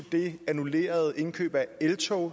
det annullerede indkøb af eltog